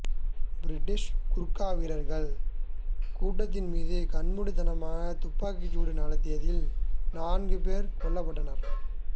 British Gurkha வீரர்கள் கூட்டத்தின் மீது கண்மூடித்தனமாக துப்பாக்கிச் சூடு நடத்தியதில் நான்கு பேர் கொல்லப்பட்டனர்